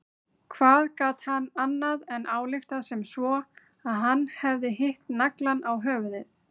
Hvað gat hann annað en ályktað sem svo að hann hefði hitt naglann á höfuðið?